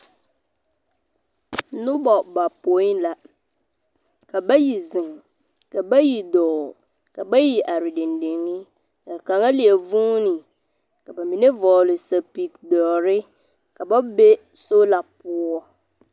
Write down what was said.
Noba bapõi la. Ka bayi zeŋ, ka bayi dɔɔ, ka byi are dendeŋe, ka kaŋa leɛ vuuni. Ka bamine v2gele sapigi doɔre ka ba be sola poɔ.